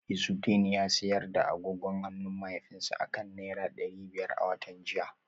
Izudeen ya sayar da agogon hannun mahaifinsa akan naira dari biyar a watan jiya